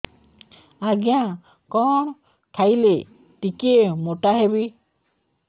ଆଜ୍ଞା କଣ୍ ଖାଇଲେ ଟିକିଏ ମୋଟା ହେବି